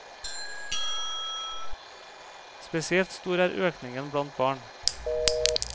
Spesielt stor er økningen blant barn.